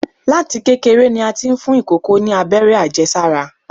Láti kékeré ni a ti ń fún ìkòkò ni Abẹ́rẹ́ àjẹsára.